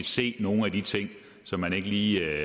se nogle af de ting som man ikke lige